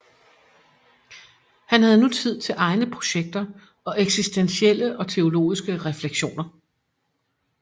Han havde nu tid til egne projekter og eksistentielle og teologiske refleksioner